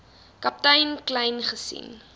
kaptein kleyn gesien